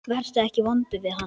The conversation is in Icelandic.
Vertu ekki vondur við hana.